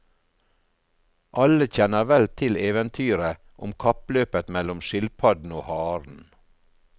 Alle kjenner vel til eventyret om kappløpet mellom skilpadden og haren.